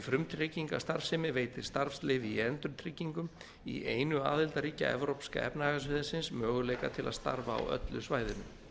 frumtryggingastarfsemi veitir starfsleyfi í endurtryggingum í einu aðildarríkja evrópska efnahagssvæðisins möguleika til að starfa á öllu svæðinu